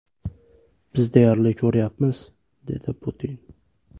Biz deyarli ko‘rishmayapmiz” dedi Putin.